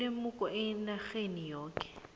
ilemuko enarheni yoke